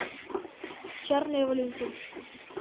чарли и валентин